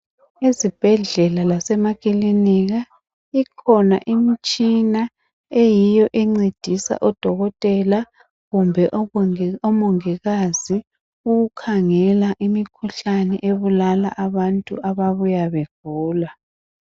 Ezibhedlela lasemakilinika, kukhona imtshina eyiyo encedisa odokotela kumbe abongi omongikazi ukukhangela imikhuhlane ebulala abantu ababuya begula.